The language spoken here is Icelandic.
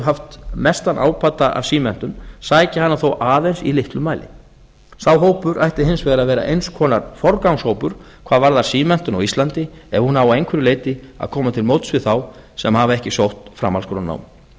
haft mestan ábata af símenntun sækja hana þó aðeins í litlum mæli sá hópur ætti hins vegar að vera eins konar forgangshópur hvað varðar símenntun á íslandi ef hún á að einhverju leyti að koma til móts við þá sem hafa ekki sótt framhaldsskólanám